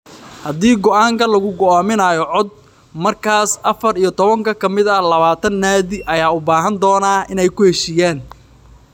Haddii go'aanka lagu go'aaminayo cod, markaas afar iyo tobanka ka mid ah labatan naadi ayaa u baahan doona inay ku heshiiyaan.